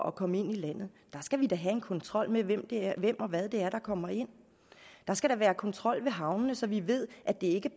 at komme ind i landet skal have en kontrol med hvem det er og hvad det er der kommer ind der skal være kontrol ved havnene så vi ved at det ikke